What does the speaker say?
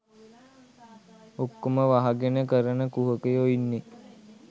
ඔක්කොම වහගෙන කරන කුහකයො ඉන්නේ